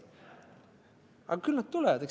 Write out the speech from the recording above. Aga küll nad tulevad.